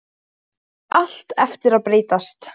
Það á allt eftir að breytast!